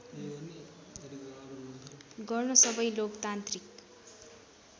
गर्न सबै लोकतान्त्रिक